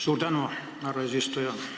Suur tänu, härra eesistuja!